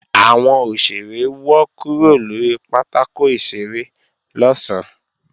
Àwọn òṣèré wọ́ kúrò lórí pátákò ìṣeré lọ̀sán